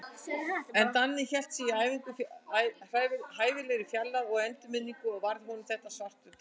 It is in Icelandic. En Danni hélt sig í hæfilegri fjarlægð, og í endurminningunni varð honum þetta svartur dagur.